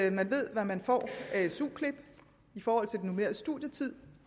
at man ved hvad man får af su klip i forhold til den normerede studietid